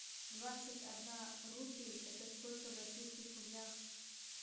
двадцать одна рупий это сколько в российских рублях